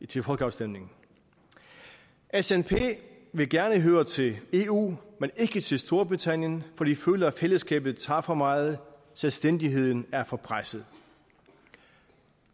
til folkeafstemningen snp vil gerne høre til eu men ikke til storbritannien for de føler at fællesskabet tager for meget selvstændigheden er for presset